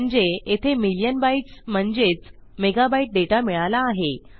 म्हणजे येथे million bytes म्हणजेच मेगाबाईट डेटा मिळाला आहे